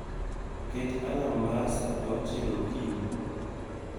Ket alarm mar saa auchiel okinyi